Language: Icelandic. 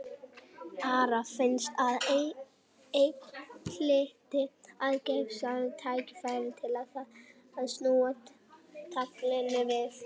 Ara fannst að enn hlyti að gefast tækifæri til þess að snúa taflinu við.